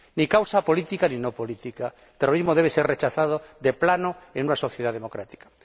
Ni causa política, ni no política el terrorismo debe ser rechazado de plano en una sociedad democrática.